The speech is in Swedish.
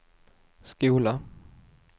skola